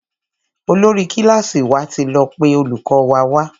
Olórí kílàsì wà tí lọ pé olùkó wa wá.